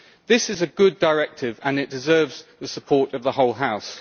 This is a good directive and it deserves the support of the whole House.